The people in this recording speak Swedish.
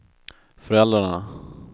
föräldrarna